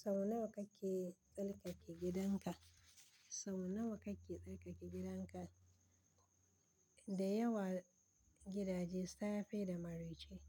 Sau nawa kake tsarkake gidanka? Sau nawa kake tsarkake gidanka? Da yawa gidaje safe da maraice,